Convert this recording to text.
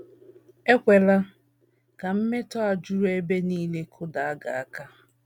Ekwela ka mmetọ a juru ebe nile kụda gị aka.